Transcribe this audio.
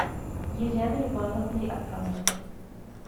еленой ивановной абрамовой